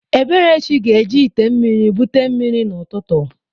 Eberechi ga-eji ite mmiri bute mmiri n'ụtụtụ